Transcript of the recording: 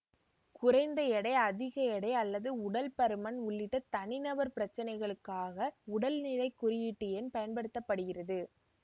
குறைந்த எடை அதிக எடை அல்லது உடல் பருமன் உள்ளிட்ட தனிநபர் பிரச்சினைகளுக்காக உடல் நிறை குறியீட்டெண் பயன்படுத்த படுகிறது